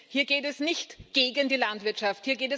Hier geht es nicht gegen die Landwirtschaft.